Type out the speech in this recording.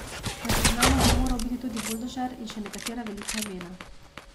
Na seznamu bi moral biti tudi Buldožer in še nekatera velika imena.